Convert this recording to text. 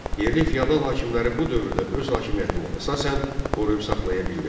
Yerli fiyadal hakimləri bu dövrdə öz hakimiyyətini əsasən qoruyub saxlaya bildilər.